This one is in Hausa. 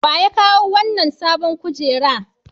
Wa ya kawo wannan sabon kujera?